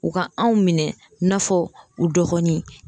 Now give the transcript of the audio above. U ka anw minɛ i n'a fɔ u dɔgɔnin